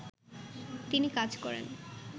তিনি কাজ করেন